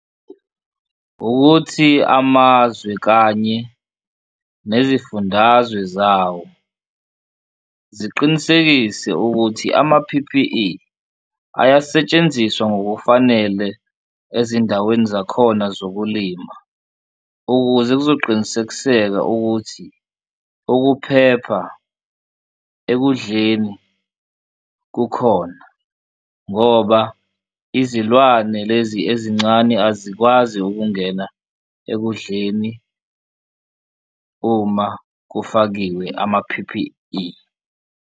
Ukuthi amazwe kanye nezifundazwe zawo ziqinisekise ukuthi ama-P_P_E ayasetshenziswa ngokufanele ezindaweni zakhona zokulima, ukuze kuzoqinisekiseka ukuthi ukuphepha ekudleni kukhona ngoba izilwane lezi ezincane azikwazi ukungena ekudleni uma kufakiwe ama-P_P_E.